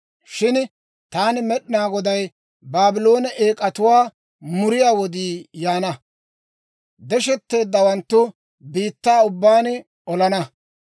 «Shin taani Med'inaa Goday Baabloone eek'atuwaa muriyaa wodii yaana. Deshetteedawaanttu biittaa ubbaan olana.